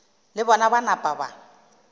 le bona ba napa ba